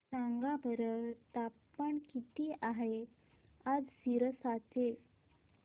सांगा बरं तापमान किती आहे आज सिरसा चे